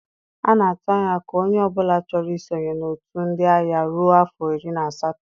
A na-atụ anya ka onye ọ bụla chọro i sonye na-otu ndị agha ruọ afọ iri na asatọ.